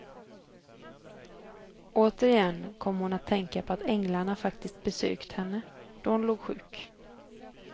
Återigen kom hon att tänka på att änglarna faktiskt besökt henne, då hon låg sjuk.